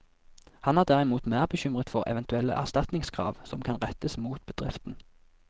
Han er derimot mer bekymret for eventuelle erstatningskrav som kan rettes mot bedriften.